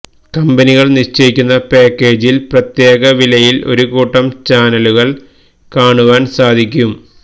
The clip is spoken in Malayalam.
കമ്പനികൾ നിശ്ചയിക്കുന്ന പാക്കേജില് പ്രത്യേക വിലയില് ഒരു കൂട്ടം ചാനലുകള് കാണുവാന് സാധിക്കും